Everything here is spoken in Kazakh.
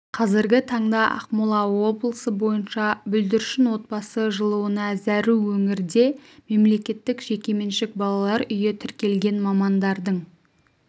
қазіргі таңда ақмола облысы бойынша бүлдіршін отбасы жылуына зәру өңірде мемлекеттік жекеменшік балалар үйі тіркелген мамандардың